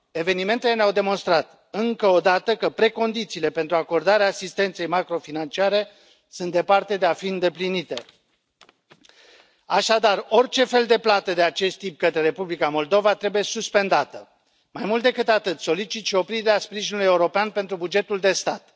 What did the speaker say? Evenimentele ne au demonstrat încă o dată că precondițiile pentru acordarea asistenței macrofinanciare sunt departe de a fi îndeplinite. Așadar, orice fel de plată de acest tip către Republica Moldova trebuie suspendată. Mai mult decât atât, solicit și oprirea sprijinului european pentru bugetul de stat.